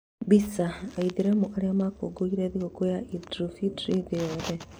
Mbica: Aithĩramu arĩa makũngũĩire thigũkũ ya Eid Ul-Fitr thĩ yothe